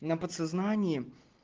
на подсознании